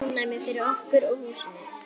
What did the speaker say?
Ofnæmi fyrir okkur og húsinu!